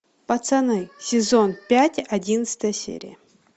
пацаны сезон пять одиннадцатая серия